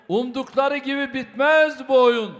Umdıqları kimi bitməz bu oyun.